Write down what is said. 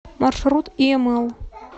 маршрут иэмэл